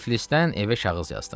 Tiflisdən evə kağız yazdım.